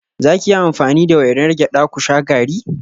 Za ki yi amfani da wainar gyada ku sha garri?